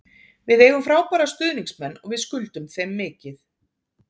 Við eigum frábæra stuðningsmenn og við skuldum þeim mikið.